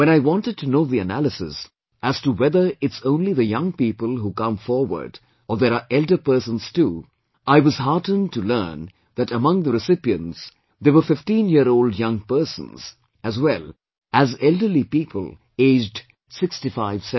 When I wanted to know the analysis, as to whether it's only the young people who come forward or there are elders persons too, I was heartened to learn that among the recipients, there were 15 year old young persons, as well as elderly people aged 6570